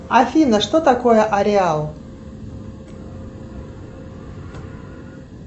афина что такое ареал